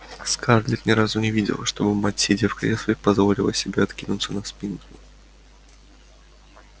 скарлетт ни разу не видела чтобы мать сидя в кресле позволила себе откинуться на спинку